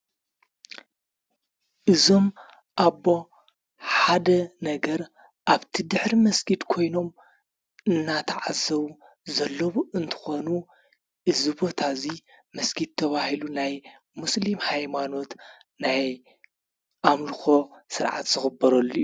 እዞም ኣቦ ሓደ ነገር ኣብቲ ድኅሪ መስጊድ ኮይኖም እናተዓዘዉ ዘሎቡ እንትኾኑ እዝቦታ እዙይ መስኪድ ተብሂሉ ናይ ሙስልም ኃይማኖት ናይ ኣምልኮ ሥርዓት ዘኽበረሉ እዩ።